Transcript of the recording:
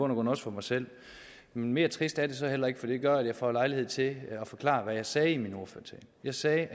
grund også for mig selv men mere trist er det så heller ikke for det gør at jeg får lejlighed til at forklare hvad jeg sagde i min ordførertale jeg sagde